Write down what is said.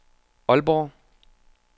Aalborg